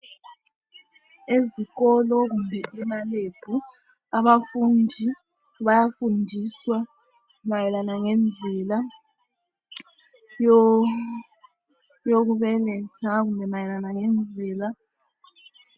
Ezikolo kumbe emalebhu abafundi bayafundiswa mayelana ngendlela yokubeletha kumbe mayelana ngendlela.